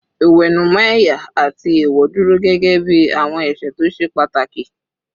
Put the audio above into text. Ìwẹ̀nùmọ́ ẹ̀yà àti èèwọ̀ dúró gẹ́gẹ́ bí àwọn ẹ̀ṣẹ̀ tó ṣe pàtàkì